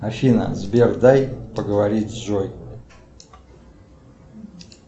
афина сбер дай поговорить с джой